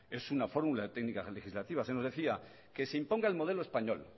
es una fórmula técnica legislativa se nos decía que se imponga el modelo español